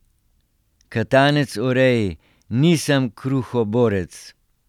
Katanec o Reji: 'Nisem kruhoborec.